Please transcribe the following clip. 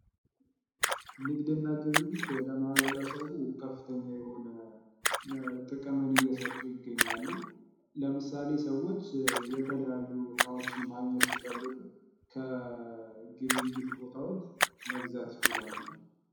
ንግድና ግብይት ለማህበረሰብ ከፍተኛ የሆነ ጥቅምን እየሰጡ ይገኛሉ። ለምሳሌ ሰዎች የተለያዩ እቃዎችን ማግኘት ሲፈልጉ ከግብይት ቦታዎች መግዛት ይችላሉ።